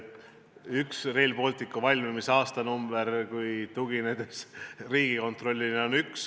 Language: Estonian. Üks Rail Balticu valmimise aastanumber tugineb Riigikontrolli andmetele.